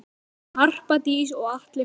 Harpa Dís og Atli Fannar.